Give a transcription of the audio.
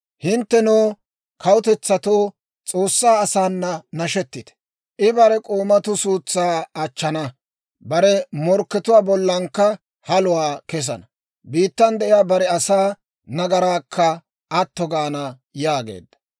Hinttenoo kawutetsatto, S'oossaa asaana nashetite. I bare k'oomatuu suutsaa achchana; bare morkkatuwaa bollankka haluwaa kesana. Biittan de'iyaa bare asaa nagaraakka atto gaana yaageedda.